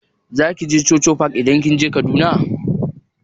Zaki je chuchu park idan kika je Kaduna?